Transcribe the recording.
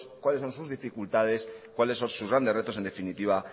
cuáles son sus dificultades cuáles son sus grandes retos en definitiva